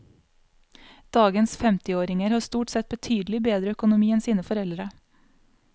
Dagens femtiåringer har stort sett betydelig bedre økonomi enn sine foreldre.